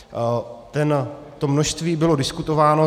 To množství bylo diskutováno.